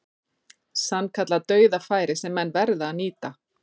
Sannkallað dauðafæri sem menn verða að nýta.